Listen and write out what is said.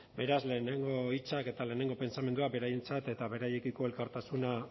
beraz lehenengo hitzak eta lehenengo pentsamendua beraientzat eta beraiekiko elkartasuna